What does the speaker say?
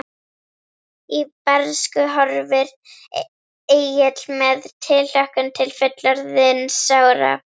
Í bernsku horfir Egill með tilhlökkun til fullorðinsára.